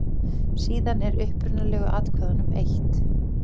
Síðan er upprunalegu atkvæðunum eytt.